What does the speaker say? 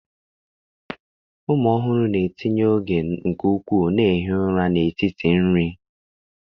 Ụmụ ọhụrụ na-etinye oge nke ukwuu na-ehi ụra n'etiti nri.